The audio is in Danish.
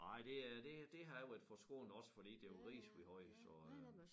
Nej det øh det det har jeg været forskånet også fordi det var ris vi havde så øh